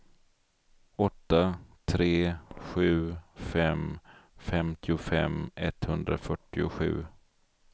åtta tre sju fem femtiofem etthundrafyrtiosju